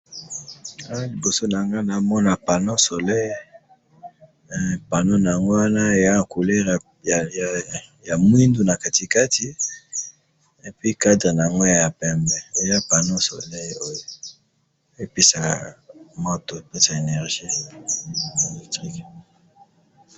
Awa na moni panneau solaire eza na couleur ya moindo, epeska énergie.